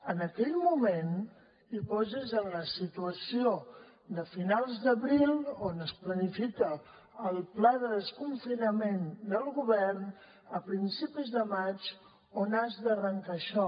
en aquell moment i posis en la situació de finals d’abril on es planifica el pla de desconfinament del govern a principis de maig on has d’arrencar això